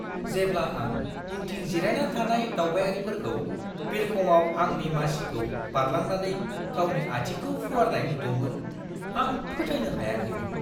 जेब्ला आं उनथिं जिरायना थानाय दावबायारिखौ बिरखंआव आंनि मासिखौ बारलांनानै गावनि आथिंखौ फुवारनाय नुदोंमोन, आं फोथायनो हायाखैमोन!